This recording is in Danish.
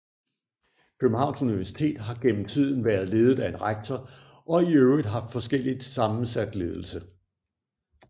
Københavns Universitet har gennem tiden været ledet af en rektor og i øvrigt haft forskelligt sammensat ledelse